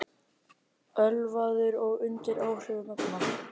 Ölvaður og undir áhrifum efna